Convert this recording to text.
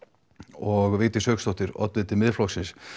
og Vigdís Hauksdóttir oddviti Miðflokksins